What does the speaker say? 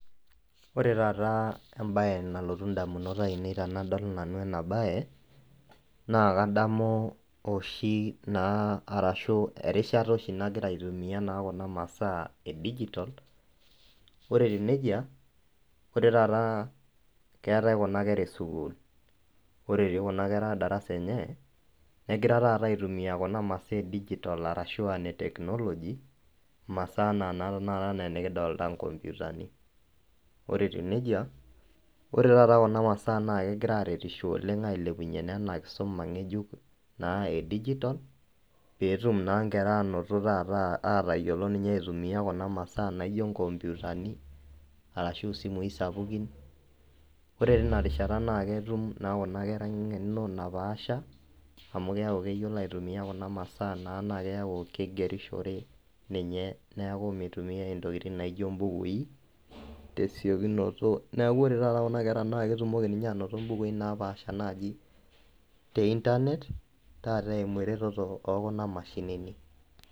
Wore taata embaye nalotu indamunot aiinei tenadol nanu ena baye, naa kadamu oshi naa arashu erishata oshi nakira aitumia naa kuna masaa edigitol. Wore etiu nejia, wore taata keetae kuna kera esukuul, wore etii kuna kera darasa enye, nekira taata aitumia kuna masaa edigitol arashu aa ine technology, imasaa enaa naa tenakata inekidolita inkomputani. Wore etiu nejia, wore taata kuna masaa naa kekira aaretisho oleng' ailepunyie naa inia kisuma ngejuk naa edigitol, pee etum naa inkera ainoto taata aatayiolo ninye aitumia kuna masaa naijo inkomputani arashu isimui sapukin. Wore tenia rishata naa ketum naa kuna kera engeno napaasha, amu keeku keyiolo aitumia kuna masaa naa naa keaku kigierishore ninye neeku mitumiyai intokitin naijo imbukui tesekunoto neeku wore taata kuna kera naa ketumoki ninye ainoto imbukui naapaasha naaji te internet taata eimu eretoto ookuna mashinini.